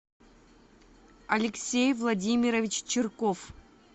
алексей владимирович чирков